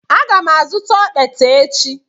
Aga m azụta okpete echi.